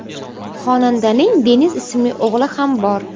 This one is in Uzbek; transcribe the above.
Xonandaning Deniz ismli o‘g‘li ham bor.